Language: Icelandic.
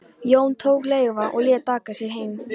Jón tók leiguvagn og lét aka sér heim.